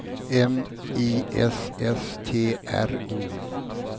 M I S S T R O